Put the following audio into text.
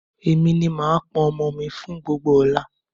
Èmi ni màá pọn omi mi fún gbogbo ọ̀la